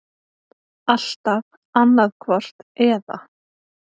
Alltaf annaðhvort eða.